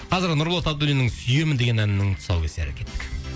қазір нұрболат абдуллиннің сүйемін деген әнінің тұсаукесері кеттік